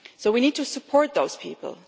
So we need to support those people.